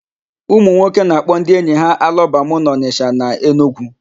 Ụmụnwoke na-akpọ ndị enyi ha alọbamụ n'Ọnịsha na Enugwu.